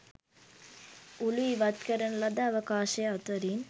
උළු ඉවත් කරන ලද අවකාශය අතරින්